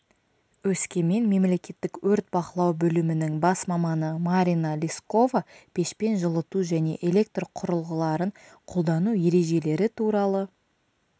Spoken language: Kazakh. өскемен мемлекеттік өрт бақылау бөлімінің бас маманы марина лискова пешпен жылыту және электрқұрылғыларын қолдану ережелері туралы